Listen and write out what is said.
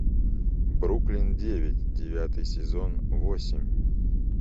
бруклин девять девятый сезон восемь